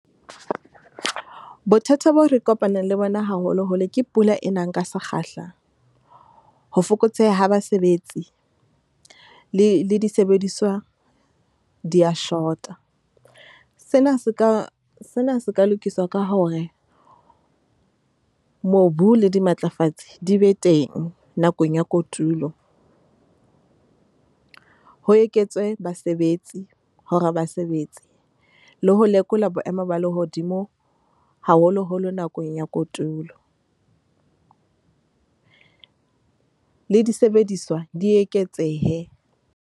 Bothata bo re kopanang le bona haholoholo ke pula e nang ka sekgahla. Ho fokotseha ha basebetsi le le disebediswa di ya short-a. Sena se ka sena se ka lokiswa ka hore, mobu le dimatlafatsi di be teng nakong ya kotulo. Ho eketswe basebetsi hore ba sebetse, le ho lekola boemo ba lehodimo haholoholo nakong ya kotulo. Le disebediswa di eketsehe.